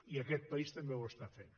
i aquest país també ho està fent